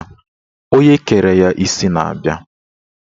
Onye kere ya isi na-abia